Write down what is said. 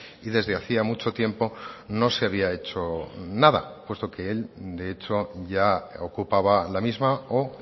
y desde hacía mucho tiempo no se había hecho nada puesto que el de hecho ya ocupaba la misma o